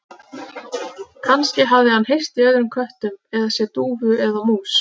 Kannski hafði hann heyrt í öðrum köttum eða séð dúfu eða mús.